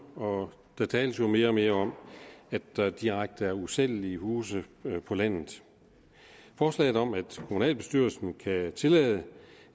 og der tales jo mere og mere om at der er direkte usælgelige huse på landet forslaget om at kommunalbestyrelsen kan tillade